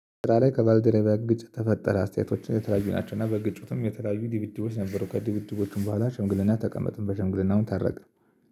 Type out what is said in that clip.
ስራ ላይ ከባልደረቢዬ ግጭት ተፈጠረ አስተያየቶችን የተለያዩ ናቸው። እና በግጭቱም የተለያዩ ድብድቦች ነበሩ። ከድብድቦቹም በኋላ ሽምግልና ተቀመጥን በሽምግልናውም ታረቅን